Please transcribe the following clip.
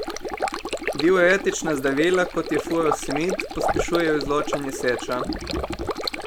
Diuretična zdravila, kot je furosemid, pospešujejo izločanje seča.